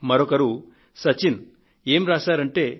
మరొకరు సచిన్ ఆయన ఏం రాశారంటే